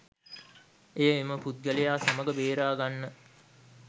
එය එම පුද්ගලයා සමග බේරාගන්න.